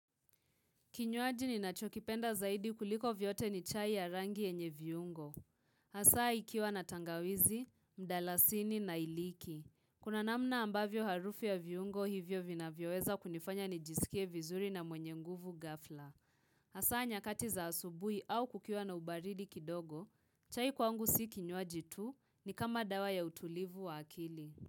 Kinywaji ninachokipenda zaidi kuliko vyote ni chai ya rangi yenye viungo. Hasaa ikiwa na tangawizi, mdalasini na iliki. Kuna namna ambavyo harufu ya viungo hivyo vinavyoweza kunifanya nijisikie vizuri na mwenye nguvu ghafla. Hasaa nyakati za asubuhi au kukiwa na ubaridi kidogo, chai kwangu si kinywaji tu ni kama dawa ya utulivu wa akili.